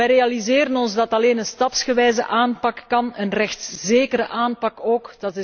Wij realiseren ons dat alleen een stapsgewijze aanpak kan, een rechtszekere aanpak ook.